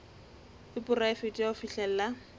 e poraefete ya ho fihlella